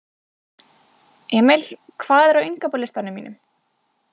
Emil, hvað er á innkaupalistanum mínum?